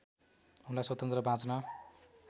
उनलाई स्वतन्त्र बाँच्न